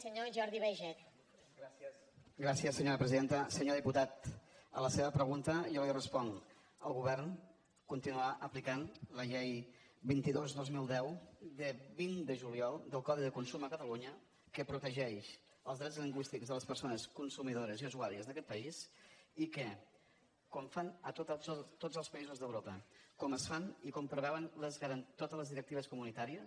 senyor diputat a la seva pregunta jo li responc el govern continuarà aplicant la llei vint dos dos mil deu de vint de juliol del codi de consum a catalunya que protegeix els drets lingüístics de les persones consumidores i usuàries d’aquest país i que com fan a tots els països d’europa com es fa i com preveuen totes les directives comunitàries